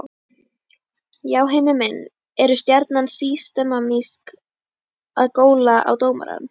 Já Heimir minn, eru Stjarnan systematískt að góla á dómarann?